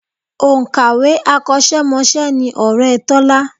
Òǹkàwé akọ́ṣẹ́mọṣẹ́ ni ọ̀rẹ́ Tọ́lá